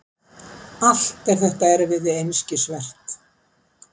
Allt þetta erfiði einskisvert.